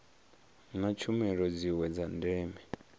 na tshumelo dziwe dza ndeme